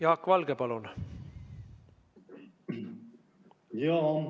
Jaak Valge, palun!